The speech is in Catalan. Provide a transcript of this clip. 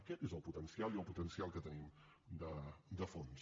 aquest és el potencial i el potencial que tenim de fons